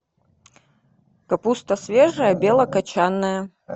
капуста свежая белокочанная